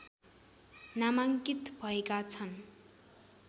नामाङ्कित भएका छन्